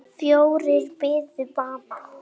Fjórir biðu bana.